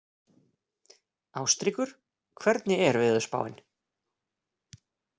Ástríkur, hvernig er veðurspáin?